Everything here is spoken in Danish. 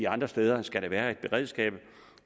andre steder skal der være et beredskab